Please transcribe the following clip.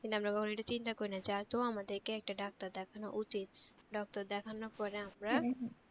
কিন্তু আমরা এটা কখনও চিন্তা করি না যেহেতু আমাদেরকে একটা ডাক্তার দেখান উচিৎ, doctor দেখানের পরে আমরা